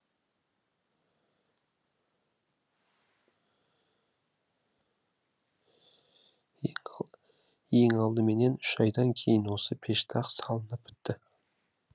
ең алдыменен үш айдан кейін осы пештақ салынып бітті